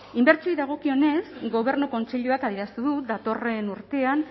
inbertsioei dagokionez gobernu kontseiluak adierazten du datorren urtean